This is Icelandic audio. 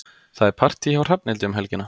Það er partí hjá Hrafnhildi um helgina.